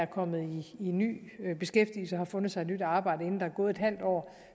kommet i ny beskæftigelse og har fundet sig et nyt arbejde inden der er gået halvt år